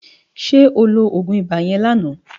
Sè óló ógún ibá yèn láná